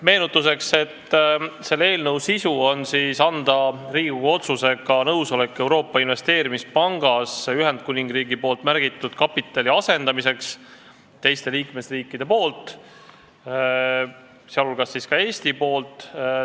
Meenutuseks: selle eelnõu eesmärk on anda Riigikogu otsusega nõusolek Euroopa Investeerimispangas Ühendkuningriigi märgitud kapitali asendamiseks teiste liikmesriikide, sh Eesti poolt.